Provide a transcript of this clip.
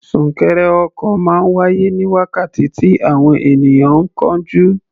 Súnkẹrẹ ọkọ̀ máa ń wáyé ní wákàtí tí àwọn ènìyàn ń kánjú.